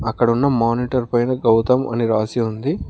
అక్కడ ఉన్న మానిటర్ పైన గౌతమ్ అని రాసి ఉంది.